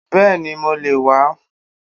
Bẹ́ẹ̀ni mo le wà á